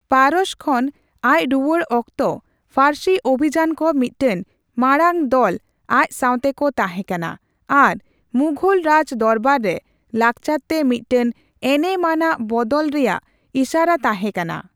ᱯᱟᱨᱚᱥᱚ ᱠᱷᱚᱱ ᱟᱪ ᱨᱩᱭᱟᱹᱲ ᱚᱠᱛᱚ ᱯᱷᱟᱨᱥᱤ ᱚᱵᱷᱤᱡᱟᱛ ᱠᱚ ᱢᱤᱫᱴᱟᱝ ᱢᱟᱲᱟᱝ ᱫᱚᱞ ᱟᱪ ᱥᱟᱸᱣᱛᱮ ᱠᱚ ᱛᱟᱸᱦᱮ ᱠᱟᱱᱟ ᱟᱨ ᱢᱩᱜᱷᱚᱞ ᱨᱟᱡᱽ ᱫᱚᱨᱵᱟᱨ ᱨᱮ ᱞᱟᱜᱪᱟᱨ ᱛᱮ ᱢᱤᱫᱴᱟᱝ ᱮᱱᱮᱢ ᱟᱱᱟᱜ ᱵᱚᱫᱚᱞ ᱨᱮᱭᱟᱜ ᱤᱥᱟᱨᱟ ᱛᱟᱸᱦᱮ ᱠᱟᱱᱟ ᱾